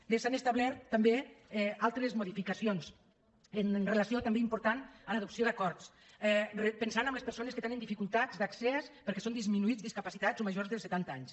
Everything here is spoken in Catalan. bé s’han establert també altres modificacions en relació també important amb l’adopció d’acords pensant en els persones que hi tenen dificultats d’accés perquè són disminuïts discapacitats o majors de setanta anys